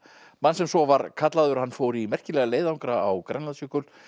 mann sem svo var kallaður hann fór í merkilega leiðangra á Grænlandsjökul